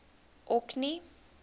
orkney